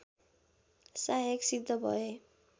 सहायक सिद्ध भए